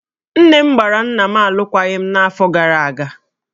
Nne m gbara nna m alụkwaghịm n'afọ gara aga